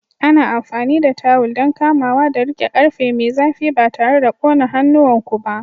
Ana amfani da tawul don kamawa da riƙe ƙarfe mai zafi ba tare da ƙone hannuwanku ba.